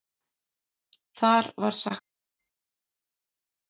Þar var sagt